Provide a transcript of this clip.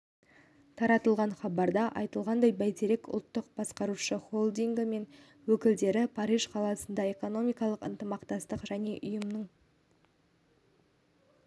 таратылған хабарда айтылғандай бәйтерек ұлттық басқарушы холдингі мен өкілдері париж қаласында экономикалық ынтымақтастық және даму ұйымының